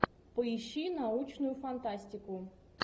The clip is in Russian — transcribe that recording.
поищи научную фантастику